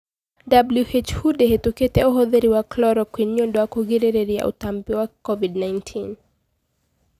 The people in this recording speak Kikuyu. WHO ndihitukitie uhuthiri wa chloroquine niũndũ wa kũgiririria ũtambi wa covid-19."